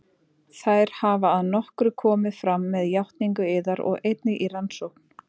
Þær hafa að nokkru komið fram með játningu yðar og einnig í rannsókn